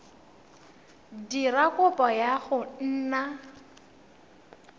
dira kopo ya go nna